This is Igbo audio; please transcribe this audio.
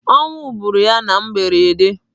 Ọnwụ gbụrụ ya na mberede.